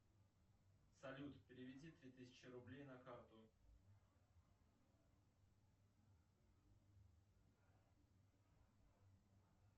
салют переведи три тысячи рублей на карту